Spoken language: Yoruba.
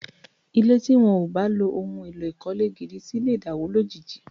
Ilé tí wọ́n ò bá lo ohun èlò ìkọ́lé gidi sí lè dàwó lójijì